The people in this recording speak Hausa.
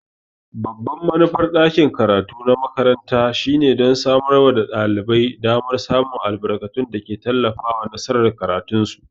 Babban manufar ɗakin karatu na makaranta shine don samar da ɗalibai damar samun albarkatun da ke tallafawa nasarar karatunsu.